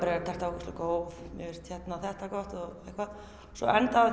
ógeðslega góð mér finnst þetta gott og eitthvað svo endaði